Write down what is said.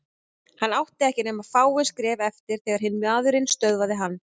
Hann átti ekki nema fáein skref eftir þegar hinn maðurinn stöðvaði hann.